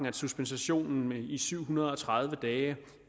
at suspensionen i syv hundrede og tredive dage